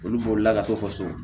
Olu bolila ka to faso